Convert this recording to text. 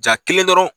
Jaa kelen dɔrɔn